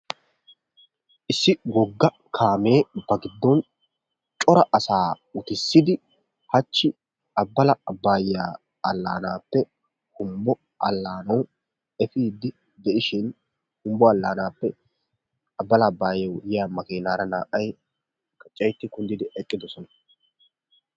Issi wogga kaamee ba giddooni cora asaa utissidi hachchi Abbala Abbaayyaa allaanaappe Humbbo allaanayyo efiiddi de'ishin Humbbo allaanaappe Abbala Abbayaayyo yiya makiinaara naa"ay gaccayetti kunddidi eqqidosona.